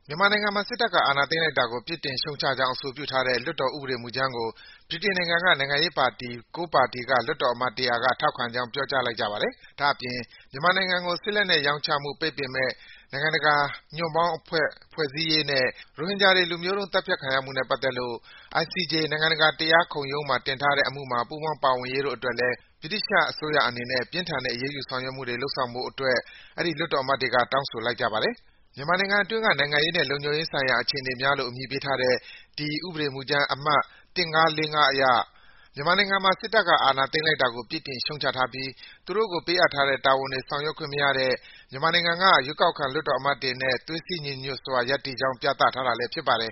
မြန်မာနိုင်ငံမှာ စစ်တပ်က အာဏာသိမ်းတာကို ပြစ်တင်ရှုတ်ချကြောင်း အဆိုပြုထားတဲ့ လွှတ်တော်ဥပဒေမူကြမ်းကို ဗြိတိန် နိုင်ငံရေးပါတီ ၉ ပါတီက လွှတ်တော်အမတ် ၁၀၀ က ထောက်ခံကြောင်း ပြောကြားလိုက်ကြပါတယ်။ ဒါ့အပြင် မြန်မာနိုင်ငံကို စစ်လက်နက် ရောင်းချမှုပိတ်ပင်မယ့် နိုင်ငံတကာ ညွန့်ပေါင်းအဖွဲ့ ဖွဲ့စည်းရေးနဲ့ ရိုဟင်ဂျာတွေ လူမျိုးတုံး သတ်ဖြတ်ခံရမှုကိစ္စနဲ့ပတ်သက်လို့ ICJ နိုင်ငံတကာ တရားခုံရုံးမှာတင်ထားတဲ့အမှုမှာ ပူးပေါင်းပါဝင်ရေးတို့အတွက်လည်း ဗြိတိသျှအစိုးရအနေနဲ့ ပြင်းထန်တဲ့ အရေးယူဆောင်ရွက်မှုတွေ လုပ်ဆောင်ဖို့အတွက်လည်း ဒီလွှတ်တော်အမတ်တွေက တောင်းဆိုလိုက်ကြပါတယ်။ “မြန်မာနိုင်ငံအတွင်းက နိုင်ငံရေးနှင့် လုံခြုံရေးဆိုင်ရာအခြေအနေများ” လို့ အမည်ပေးထားတဲ့ ဒီဥပဒေမူကြမ်း အမှတ် ၁၅၄၅ အရ မြန်မာနိုင်ငံမှာ စစ်တပ်က အာဏာသိမ်းတာကို ပြစ်တင် ရှုတ်ချထားပြီး သူတို့ကို ပေးအပ်ထားတဲ့တာဝန်တွေ ထမ်းဆောင်ခွင့်မရတဲ့ မြန်မာနိုင်ငံက ရွေးကောက်ခံလွှတ်တော်အမတ်တွေနဲ့ သွေးစည်း ညီညွတ်စွာရပ်တည်ကြောင်း ပြသထားတာလည်း ဖြစ်ပါတယ်